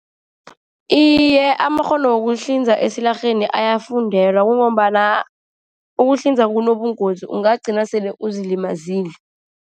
Iye, amakghono wokuhlinza esilarheni ayafundelwa. Kungombana ukuhlinza kunobungozi, ungagcina sele uzilimazile.